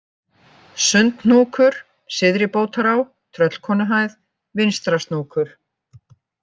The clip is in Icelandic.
Sundhnúkur, Syðri-Bótará, Tröllkonuhæð, Vinstrasnókur